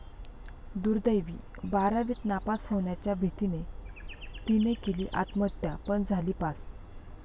दुर्दैवी!, बारावीत नापास होण्याच्या भीतीने 'ती'ने केली आत्महत्या पण झाली पास